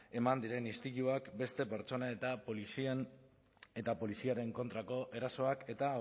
eman diren istiluak beste pertsonen eta poliziaren kontrako erasoak eta